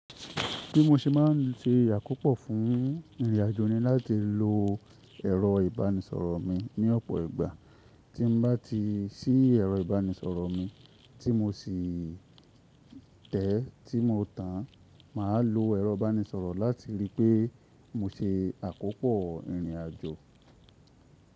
Bí mo ṣe má ń se àkópò fún ìrìnàjò ni láti lo ẹ̀rọ ìbánisọ̀rọ̀ mi ní ọ̀pọ̀ ìgbà. Tí n bá ti sí ẹ̀rọ ìbánisọ̀rọ̀ mi tí mo sì tẹ̀ tí mo tàn, màá lo ẹ̀rọ ìbánisọ̀rọ̀ láti ríi pé mo ṣe àkópò ìrìnàjò.